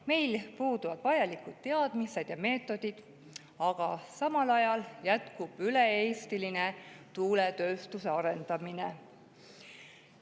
Meil puuduvad vajalikud teadmised ja meetodid, aga samal ajal jätkub üle-eestiline tuuletööstuse arendamine.